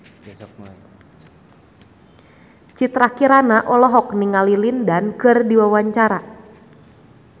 Citra Kirana olohok ningali Lin Dan keur diwawancara